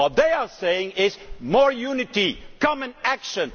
What they are saying is more unity, common action.